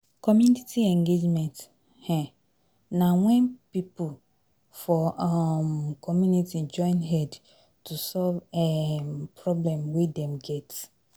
Community engagement um na when pipo for um community join head to solve um problem wey dem get